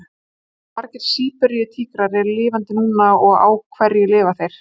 Hversu margir Síberíu-tígrar eru lifandi núna og á hverju lifa þeir?